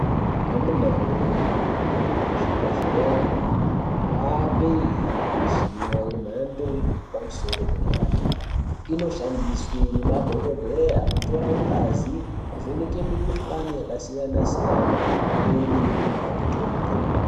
Amuna woye kuzvibhedhlera kwane mishina yemhando yepadera dera inoshandiswe ngemadhokodheya kutora ngazi kuvheneka mikuhlani yakasiyana siyana pamwei nekunyora mitombo .